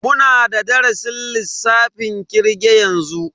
Muna da darasin lissafin kirge yanzu.